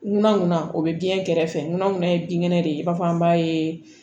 Ŋunanŋunan o be den kɛrɛfɛ fɛ ŋunan gunna ye binkɛnɛ de ye i b'a fɔ an b'a ye